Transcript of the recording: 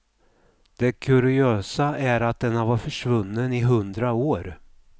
Det kuriösa är att den har varit försvunnen i hundra år.